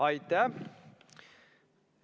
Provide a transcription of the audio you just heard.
Aitäh!